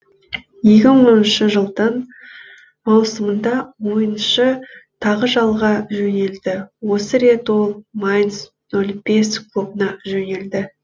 екі мың оныншы жылдың маусымында ойыншы тағы жалға жөнелді осы рет ол майнц нөл бес клубына жөнелді